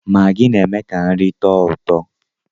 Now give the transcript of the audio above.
Maggi na-eme ka nri tọọ ụtọ